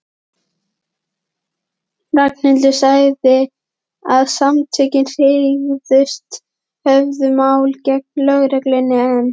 Ragnhildur sagði að Samtökin hygðust höfða mál gegn lögreglunni en